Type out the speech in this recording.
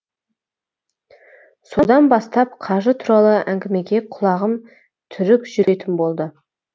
содан бастап қажы туралы әңгімеге құлағым түрік жүретін болды